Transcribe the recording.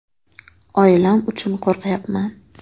“Oilam uchun qo‘rqyapman”.